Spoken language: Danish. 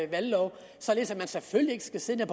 valglov således at man selvfølgelig ikke skal sidde